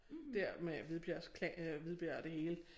Der med Hvidbjergs øh Hvidbjerg og det hele